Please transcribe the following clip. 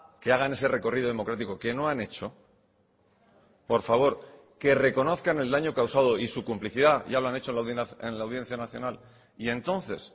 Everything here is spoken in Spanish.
que hagan ese recorrido democrático que no han hecho por favor que reconozcan el daño causado y su complicidad ya lo han hecho en la audiencia nacional y entonces